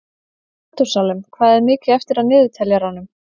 Metúsalem, hvað er mikið eftir af niðurteljaranum?